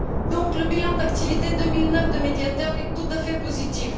Donc, le bilan d'activité 2009 du Médiateur est tout à fait positif.